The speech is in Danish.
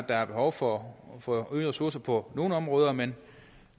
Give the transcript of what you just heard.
der er behov for for øgede ressourcer på nogle områder men